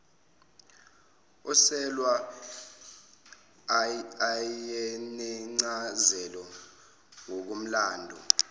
oselwa ayenencazelo ngokomlando